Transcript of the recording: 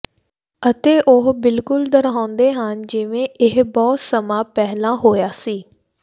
ਅਤੇ ਉਹ ਬਿਲਕੁਲ ਦੁਹਰਾਉਂਦੇ ਹਨ ਜਿਵੇਂ ਇਹ ਬਹੁਤ ਸਮਾਂ ਪਹਿਲਾਂ ਹੋਇਆ ਸੀ